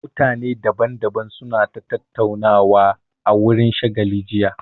Mutane daban daban su na ta tattaunawa a wurin shagalin jiya